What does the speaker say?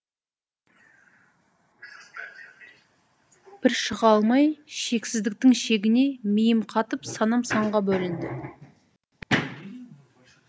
бір шыға алмай шексіздіктің шегіне миым қатып санам санға бөлінді